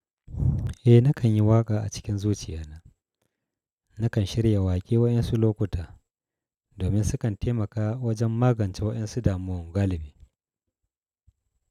Eh nakan yi waƙa a cikin zuciya na. Na kan shirya waƙe wayansu lokuta domin sukan taimaka wajen magance waɗansu damuwa galibi.